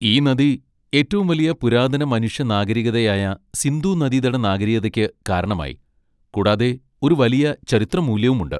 ഈ നദി ഏറ്റവും വലിയ പുരാതന മനുഷ്യ നാഗരികതയായ സിന്ധുനദീതട നാഗരികതയ്ക്ക് കാരണമായി, കൂടാതെ ഒരു വലിയ ചരിത്രമൂല്യമുണ്ട്.